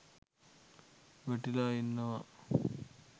වැටිලා ඉන්නවා